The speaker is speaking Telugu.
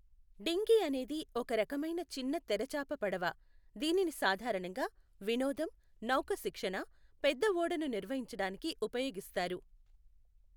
డింగీ అనేది ఒక రకమైన చిన్న తెరచాప పడవ, దీనిని సాధారణంగా వినోదం, నౌక శిక్షణ, పెద్ద ఓడను నిర్వహించడానికి ఉపయోగిస్తారు.